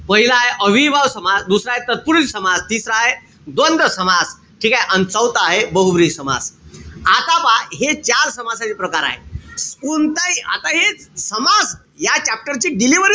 पहिलाय अव्ययीभाव समास. दुसराय तत्पुरुषी समास. तिसरा आहे द्वंद्व समास. ठीकेय? अन चौथा हाये बहुव्रीही समास. आता पहा. हे चार समासाचे प्रकार हाये. कोणताही, आता हेच समास या chapter ची delivery,